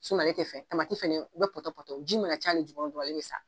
ale ti fɛn fɛnɛ bɛ pɔtɔpɔtɔ o ji mana ca ni jukɔrɔ dɔrɔnl ale bi sa.